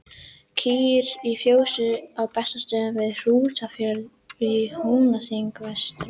Kýr í fjósi á Bessastöðum við Hrútafjörð í Húnaþingi vestra.